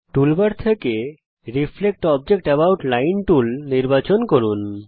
toolbar থেকে reflect object about line tool নির্বাচন করুন